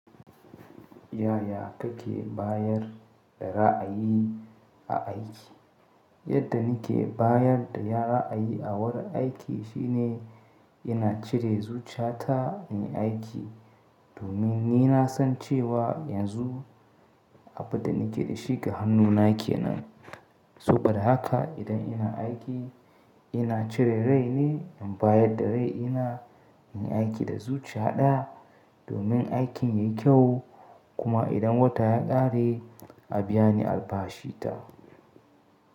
Yaya kake bayar da ra’ayi a aiki? Yadda nake bayar da ra’ayi a wurin aiki shine ina cire zuciyata nayi aiki domin ni na san cewa yanzu abin da nake da shi ga hannun aiki kenan. So ba da haka idan ina aiki ina cire rai ne in bayar da rai ina, inyi aiki da zuciya ɗaya domin aikin yayi kyau. Kuma idan wata ya ƙare a biya ni albashi ta.